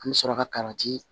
An bɛ sɔrɔ ka kariti